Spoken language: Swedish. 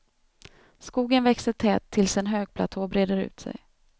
Skogen växer tät tills en högplatå breder ut sig.